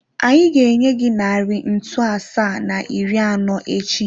Anyị ga-enye gị narị ntu asaa na iri anọ echi.